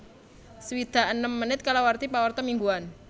swidak enem menit kalawarti pawarta mingguan